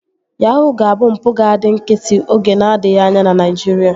Yahuu ga-abụ mpụ ga-adị nkịtị oge n'adịghị anya na Naijiria